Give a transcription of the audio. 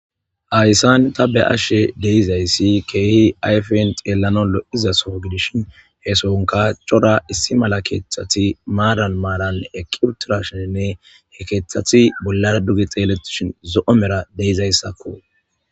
ayssan ta be ashshe deizayssi keehi ayfen xeellanolo izasoo gidishin heesonka cora issi mala keeththati maadan maarann ekibturashenne he keeththati bollara duge xeelletishin zo7o mera deizayssakko